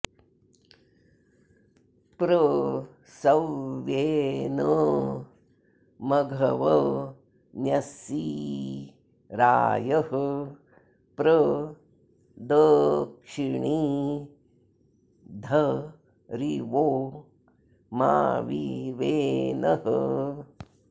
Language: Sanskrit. प्र स॒व्येन॑ मघव॒न्यंसि॑ रा॒यः प्र द॑क्षि॒णिद्ध॑रिवो॒ मा वि वे॑नः